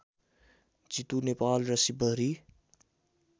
जितु नेपाल र शिवहरि